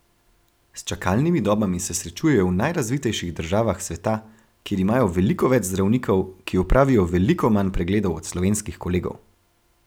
S čakalnimi dobami se srečujejo v najrazvitejših državah sveta, kjer imajo veliko več zdravnikov, ki opravijo veliko manj pregledov od slovenskih kolegov.